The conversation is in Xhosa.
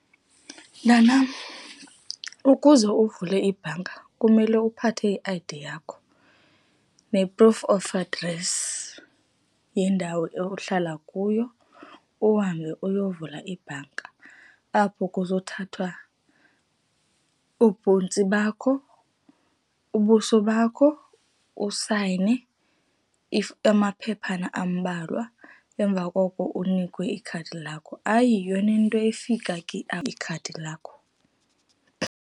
Mntanam, ukuze uvule ibhanka kumele uphathe i-I_D yakho ne-proof of address yendawo ohlala kuyo, uhambe uyovula ibhanka, apho kuzothathwa oobhontsi bakho, ubuso bakho, usayine amaphephana ambalwa. Emva koko unikwe ikhadi lakho, ayiyo nento efika ke ikhadi lakho.